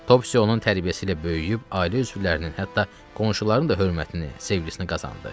Topsis onun tərbiyəsi ilə böyüyüb, ailə üzvlərinin, hətta qonşuların da hörmətini, sevgisini qazandı.